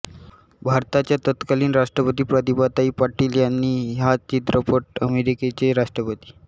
भारताच्या तत्कालीन राष्ट्रपती प्रतिभाताई पाटील यांनी हा चित्रपट अमेरिकेचे राष्ट्रपति